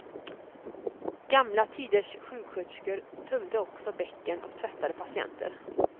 Gamla tiders sjuksköterskor tömde också bäcken och tvättade patienter.